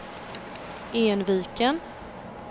Enviken